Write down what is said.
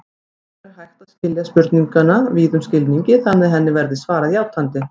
Hins vegar er hægt að skilja spurninguna víðum skilningi þannig að henni verði svarað játandi.